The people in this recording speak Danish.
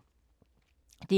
DR2